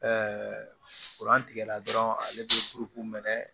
tigɛ la dɔrɔn ale bɛ mɛn